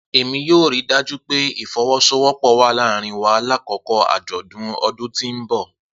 Emi yoo rii daju pe ifowosowopo wa laarin wa lakoko ajọdun ọdun ti n bọ.